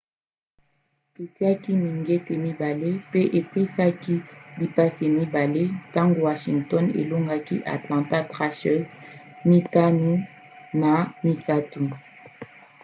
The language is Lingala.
atiaki mingete 2 mpe apesaki bapasse 2 ntango washington elongaki atlanta thrashers 5-3